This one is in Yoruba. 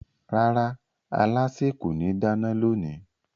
Rárá, alásè kò ní dáná lónìí